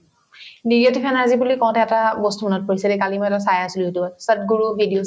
negative energy বুলি কওঁতে এটা বস্তু মনত পৰিছে দেই কালি মই এটা চাই আছিলো you tube ত সত্‍ গুৰুৰ video